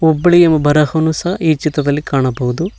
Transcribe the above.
ಹುಬ್ಬಳ್ಳಿಯು ಬರಹವು ಸಹ ಈ ಚಿತ್ರದಲ್ಲಿ ಕಾಣಬಹುದು.